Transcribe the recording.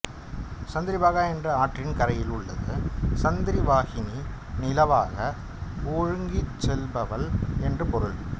சந்திரபாகா என்ற ஆற்றின் கரையில் உள்ளது சந்திரவாஹினி நிலவாக ஒழுகிச்செல்பவள் என்று ெபாருள்